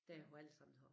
Der hvor alle sammen tager